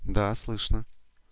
да слышно